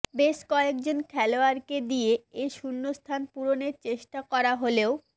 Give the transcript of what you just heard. বেশ কয়েকজন খেলোয়াড়কে দিয়ে এ শূন্যস্থান পূরণের চেষ্টা করা হলেও